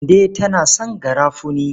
Kande tana son garafuni.